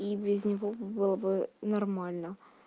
и без него бы было бы нормально